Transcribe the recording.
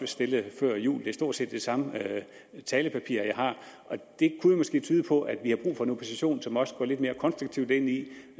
stillet før jul det er stort set det samme talepapir jeg har det kunne måske tyde på at vi har brug for en opposition som også går lidt mere konstruktivt ind i